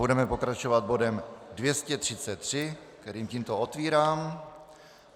Budeme pokračovat bodem 233, který tímto otvírám.